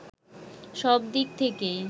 সব দিক থেকেই